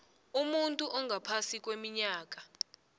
umuntu ongaphasi kweminyaka